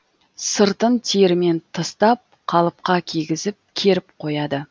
сыртын терімен тыстап қалыпқа кигізіп керіп қояды